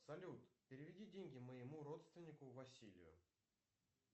салют переведи деньги моему родственнику василию